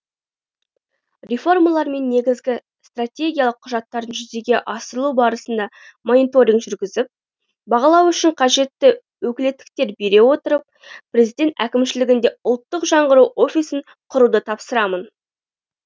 реформалар мен негізгі стратегиялық құжаттардың жүзеге асырылу барысына мониторинг жүргізіп бағалау үшін қажетті өкілеттіктер бере отырып президент әкімшілігінде ұлттық жаңғыру офисін құруды тапсырамын